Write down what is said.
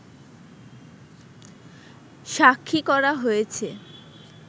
সাক্ষী করা হয়েছে